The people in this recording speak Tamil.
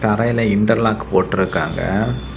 தரையில இன்டெர் லாக் போட்டிருக்காங்க.